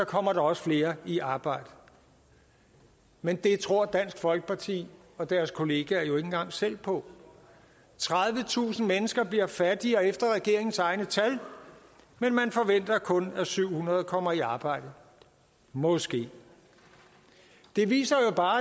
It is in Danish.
kommer der også flere i arbejde men det tror dansk folkeparti og deres kollegaer jo ikke engang selv på tredivetusind mennesker bliver fattigere efter regeringens egne tal men man forventer kun at syv hundrede kommer i arbejde måske det viser jo bare